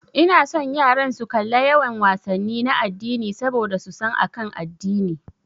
Ina son yaran su kalla yawan wasanni na addini saboda su san akan addini.